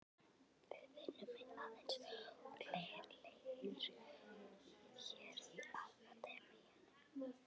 Við vinnum aðeins úr leir hér í Akademíunni.